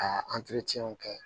Ka kɛ